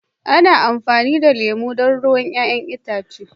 ana amfani da lemu don ruwan 'ya'yan itace